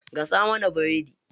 Gasa mana biredi.